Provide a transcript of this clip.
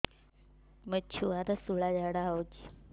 ମୋ ଛୁଆର ସୁଳା ଝାଡ଼ା ହଉଚି